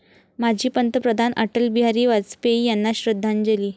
माजी पंतप्रधान अटल बिहारी वाजपेयी यांना श्रद्धांजली